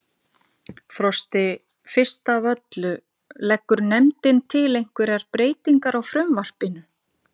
Frosti, fyrst af öllu, leggur nefndin til einhverjar breytingar á frumvarpinu?